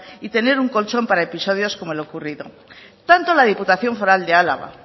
y tener un colchón para episodios como el ocurrido tanto la diputación foral de álava